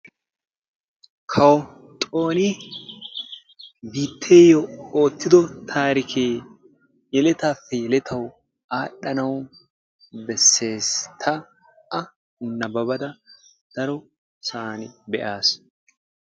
Kawo Xooni biitteyo oottido taarikke yeletappe yeletaw aadhdhanaw beesses. Ta a nababbada darossan be'as.